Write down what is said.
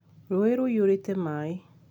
Rũĩ rũiyũrĩte maĩ